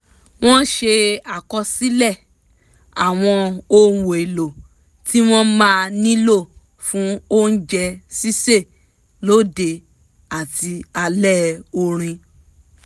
wọ́n ṣe àkọsílẹ̀ àwọn ohun èlò tí wọ́n máa nílò fún oúnjẹ sísè lóde àti alẹ́ orin